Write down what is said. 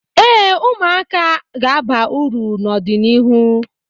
Ee, ụmụaka a ga-aba uru n'ọdịnịhu